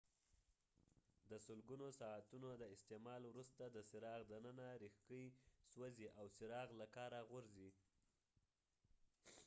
د سلګونو ساعتونو د استعمال وروسته د څراغ دننه ریښکۍ سوځي او څراغ له کاره غورځي